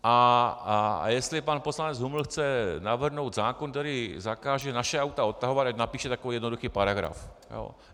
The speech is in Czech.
A jestli pan poslanec Huml chce navrhnout zákon, který zakáže naše auta odtahovat, ať napíše takový jednoduchý paragraf.